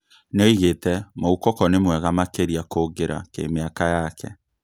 Nĩoigĩte "Moukoko nĩ mwega makĩria kũngĩra kĩmĩaka yake"